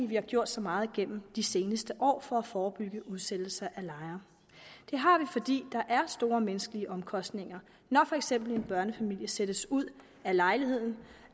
vi har gjort så meget gennem de seneste år for at forebygge udsættelser af lejere det har vi fordi der er store menneskelige omkostninger når for eksempel en børnefamilie sættes ud af lejligheden